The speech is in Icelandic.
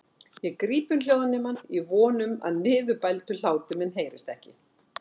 Ég gríp um hljóðnemann í von um að niðurbældur hlátur minn heyrist ekki.